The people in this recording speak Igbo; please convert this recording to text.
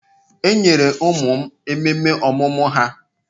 Enyere ụmụ m ememe ọmụmụ ha.